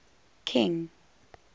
king